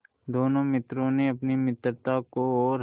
दोनों मित्रों ने अपनी मित्रता को और